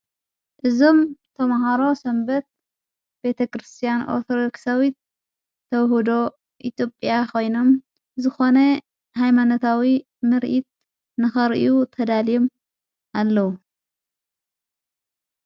እዞም ተምሃሮ ሰንበት ቤተ ክርስቲያን ኣትረክሳዊት ተውሁዶ ኢቴጵያ ኾይኖም ዝኾነ ኃይማነታዊ ምርኢት ንኸርእዩ ተዳልየም ኣለዉ።